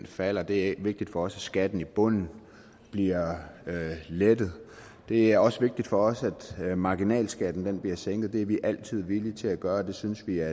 falder det er vigtigt for os at skatten i bunden bliver lettet det er også vigtigt for os at marginalskatten bliver sænket det er vi altid villige til at gøre og det synes jeg